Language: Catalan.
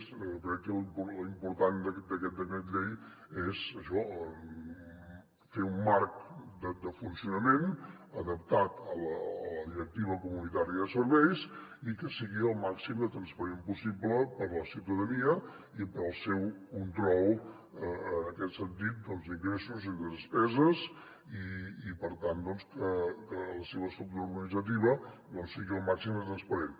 crec que l’important d’aquest decret llei és això fer un marc de funcionament adaptat a la directiva comunitària de serveis i que sigui el màxim de transparent possible per a la ciutadania i per al seu control en aquest sentit d’ingressos i de despeses i per tant que la seva estructura organitzativa sigui el màxim de transparent